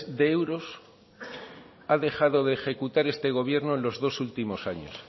de euros ha dejado de ejecutar este gobierno en los dos últimos años